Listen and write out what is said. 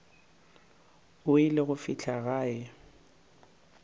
o ile go fihla gae